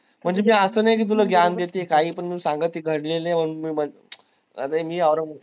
म्हणजे ते असं नाही कि तुला देतीन काहीपण संगतीन घडलेले